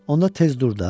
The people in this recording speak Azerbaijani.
Onda tez dur da.